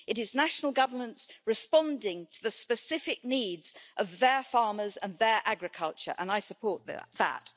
it is national governments responding to the specific needs of their farmers and their agriculture, and I support that.